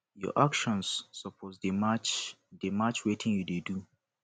your actions suppose dey match dey match wit wetin you dey do